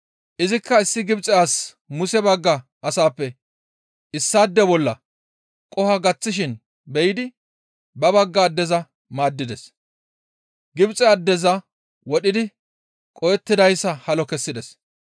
Izikka issi Gibxe asi Muse bagga asaappe issaade bolla qoho gaththishin be7idi ba bagga addeza maaddides; Gibxe addeza wodhidi qohettidayssa halo kessides.